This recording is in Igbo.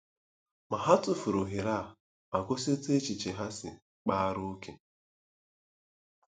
Ma ha tụfuru ohere a ma gosi otú echiche ha si kpaara ókè.